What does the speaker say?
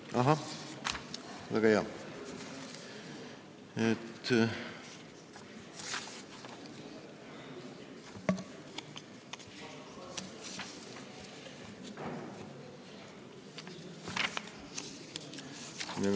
Ahah, väga hea!